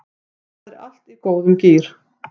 Það er allt í góðum gír